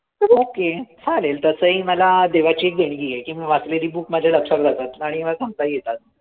Okay. चालेल. तसंही मला देवाची एक देणगी आहे. की मी वाचलेली book माझ्या लक्षात राहते. आणि मला सांगताही येतात.